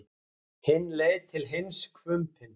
Hinn leit til hans hvumpinn.